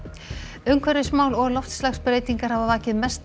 umhverfismál og loftslagsbreytingar hafa vakið mesta